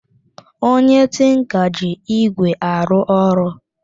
Onye tinka ji ígwè arụ ọrụ